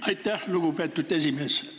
Aitäh, lugupeetud esimees!